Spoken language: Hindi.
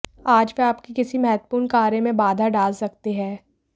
आज वे आपके किसी महत्वपूर्ण कार्य में बाधा डाल सकते हैं